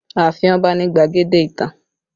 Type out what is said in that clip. Ààfin Ọba ni gbadege ìtàn